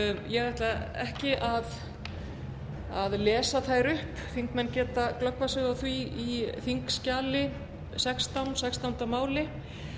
ég ætla ekki að lesa þær upp þingmenn geta glöggvað sig á því í þingskjali sextán sextánda máli